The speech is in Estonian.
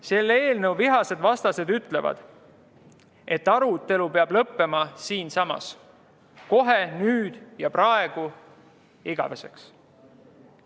Selle eelnõu vihased vastased ütlevad, et arutelu peab lõppema siinsamas, kohe, nüüd ja praegu, igaveseks.